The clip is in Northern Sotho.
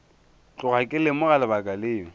tloga ke lemoga lebaka leo